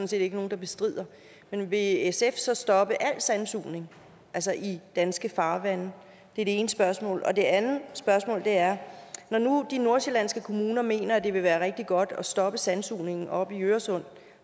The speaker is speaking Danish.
set ikke nogen der bestrider men vil sf så stoppe al sandsugning altså i danske farvande det er det ene spørgsmål det andet spørgsmål er når nu de nordsjællandske kommuner mener at det vil være rigtig godt at stoppe sandsugning oppe i øresund